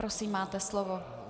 Prosím, máte slovo.